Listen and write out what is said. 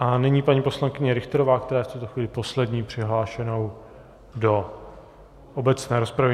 A nyní paní poslankyně Richterová, která je v tuto chvíli poslední přihlášenou do obecné rozpravy.